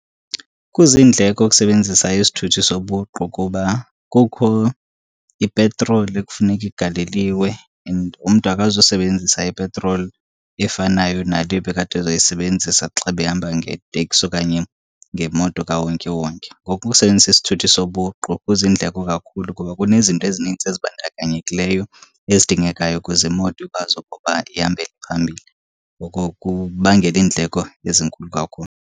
Kuzindleko ukusebenzisa isithuthi zobuqu kuba kukho ipetroli ekufuneka igaleliwe and umntu akazusebenzisa ipetroli efanayo nale ebekade ezoyisebenzisa xa ebehamba ngeteksi okanye ngemoto kawonkewonke. Ngoku ukusebenzisa isithuthi sobuqu kuzindleko kakhulu kuba kunezinto ezininzi ezibandakanyekileyo ezidingekayo ukuze imoto ikwazi ukuba ihambe iye phambili. Oko kubangela iindleko ezinkulu kakhulu.